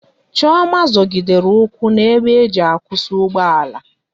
Chioma zogidere ukwu na ebe eji akwusi ugbo ala